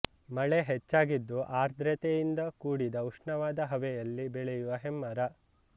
ಮಳೆ ಹೆಚ್ಚಾಗಿದ್ದು ಆದ್ರ್ರತೆಯಿಂದ ಕೂಡಿದ ಉಷ್ಣವಾದ ಹವೆಯಲ್ಲಿ ಬೆಳೆಯುವ ಹೆಮ್ಮರ